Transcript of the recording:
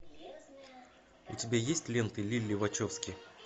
у тебя есть ленты лилли вачовски